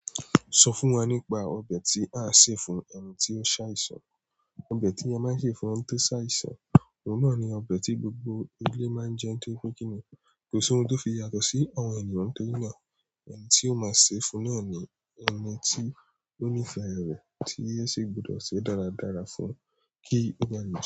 Sọ fún wa nípa ọbẹ̀ tí a ṣe fún ẹni tí ó ṣàìsàn. Òbè tí a máa ń ṣe fún ẹni tí ó ṣàìsàn, òun náà ni ọbẹ̀ tí gbogbo ilé máa ń jẹ nítorí pe kínní. Kò sí ohun tó fi yàtọ̀ sí àwọn ènìyàn ntorina. Ẹni tí ó máa ṣe fún náà ni ẹni tí ó nífẹ̀ẹ́ rẹ̀, tí yo sì gbudọ̀ ṣe dáradára fún kí ó ba a le.